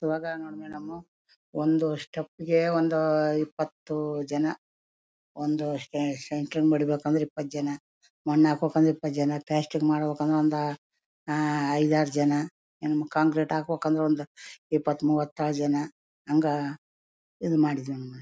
ಇವಾಗ ನೋಡ್ದೆ ಒಂದು ಸ್ಟೆಪ್ ಗೆ ಅಹ್ ಒಂದು ಇಪ್ಪತ್ ಜನ ಒಂದು ಸೆಂಟ್ರಿಂಗ್ ಬಡೀಬೇಕು ಅಂದ್ರೆ ಇಪ್ಪತ್ ಜನ ಮಣ್ಣ್ ಹಾಕುಕ್ ಅಂದ್ರೆ ಒಂದ್ ಇಪ್ಪತ್ ಜನ ಪ್ಲಾಸ್ಟ್ಟಿಂಗ್ ಮಾಡ್ಬೇಕು ಅಂದ್ರೆ ಅಹ್ ಐದ್ ಆರ್ ಜನ ಹ್ಮ್ ಕಾಂಕ್ರಿಟ್ ಹಾಕ್ಬೇಕು ಒಂದ ಇಪ್ಪತ್ ಮೂವತ್ತು ಜನ ಹಂಗ .]